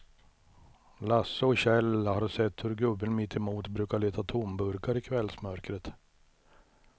Lasse och Kjell har sett hur gubben mittemot brukar leta tomburkar i kvällsmörkret.